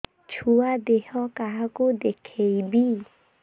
ଛୁଆ ଦେହ କାହାକୁ ଦେଖେଇବି